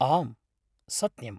आम्, सत्यम्!